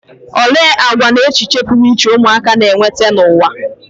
Olee àgwà na echiche pụrụ iche ụmụaka na-eweta n'ụwa?